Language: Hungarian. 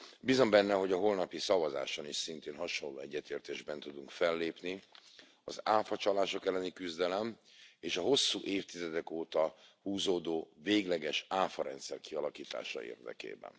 Bízom benne, hogy a holnapi szavazáson is szintén hasonló egyetértésben tudunk fellépni az áfacsalások elleni küzdelem és a hosszú évtizedek óta húzódó végleges áfarendszer kialakítása érdekében.